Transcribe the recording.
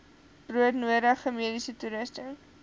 broodnodige mediese toerusting